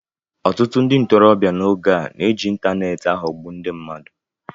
Ọtụtụ ndị ntorobịa n’oge a na-eji ịntaneetị aghọgbu ndị mmadụ